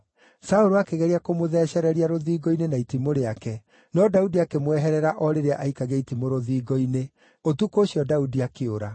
Saũlũ akĩgeria kũmũthecereria rũthingo-inĩ na itimũ rĩake, no Daudi akĩmweherera o rĩrĩa aaikagia itimũ rũthingo-inĩ. Ũtukũ ũcio Daudi akĩũra.